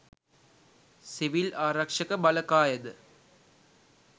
civil ආරක්ෂක බලකායද